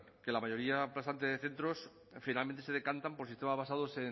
que la mayoría aplastante de centros finalmente se decantan por sistemas basados